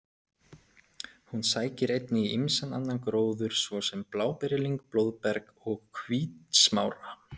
Hún sækir einnig í ýmsan annan gróður svo sem bláberjalyng, blóðberg og hvítsmára.